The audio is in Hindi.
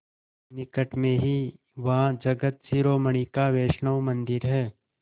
निकट में ही वहाँ जगत शिरोमणि का वैष्णव मंदिर है